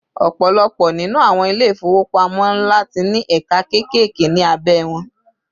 ọpọlọpọ ninu àwọn ilé ifowopamọ nla ti ní ẹka kekeke ni abe won